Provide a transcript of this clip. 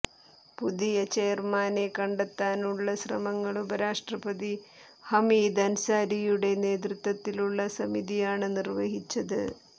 പുതിയ ചെയര്മാനെ കണ്ടെത്താനുള്ള ശ്രമങ്ങള് ഉപരാഷ്ട്രപതി ഹമീദ് അന്സാരിയുടെ നേതൃത്വത്തിലുള്ള സമിതിയാണ് നിര്വഹിച്ചത്